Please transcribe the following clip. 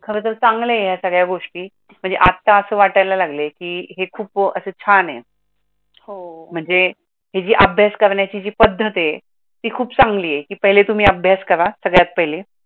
खरं तर चंगला आहे हे संगड्या गोष्टी, आत्ता असं वाटायला लागले की हे खूप असे छान आहे. महाणजे अभ्यास करण्याची जी पद्धत आहे ती खूप चांगली आहे की पहिले तुम्ही अभ्यास करा सगळ्यात पहिले.